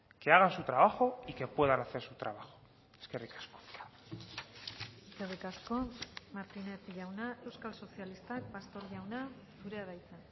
que hagan su trabajo y que puedan hacer su trabajo eskerrik asko eskerrik asko martínez jauna euskal sozialistak pastor jauna zurea da hitza